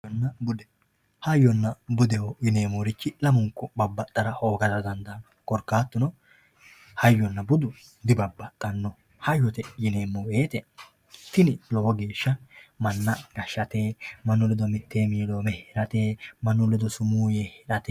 hayyonna bude hayyonna bude yineemmorichi lamunku babbaxara hoogara dandaanno korkaatuno hayyonna budu di babbaxanno, hayyote yineemmo wote tini lowo geeshsha manna gashshate mannu ledo mittee miloome heerate mannu ledo sumuu yee heerate.